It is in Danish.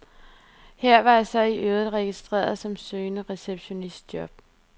Her var jeg så i øvrigt registreret som søgende receptionistjob.